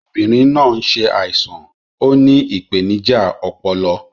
obinrin naa n ṣaisan; Ó ní ìpèníjà ọpọlọ